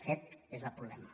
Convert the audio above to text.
aquest és el problema